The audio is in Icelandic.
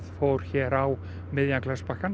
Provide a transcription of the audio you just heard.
fór hér á miðjan